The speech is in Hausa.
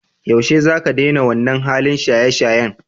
Yaushe zaka daina wannan halin shayeshayen?